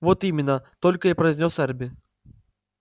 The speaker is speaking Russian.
вот именно только и произнёс эрби